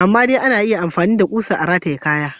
Amma dai ana iya yin amfani da kusa a rataye kaya.